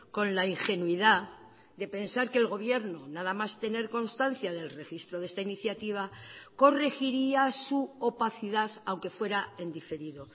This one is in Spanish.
con la ingenuidad de pensar que el gobierno nada más tener constancia del registro de esta iniciativa corregiría su opacidad aunque fuera en diferido